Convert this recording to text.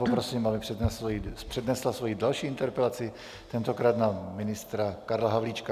Poprosím, aby přednesla svoji další interpelaci, tentokrát na ministra Karla Havlíčka.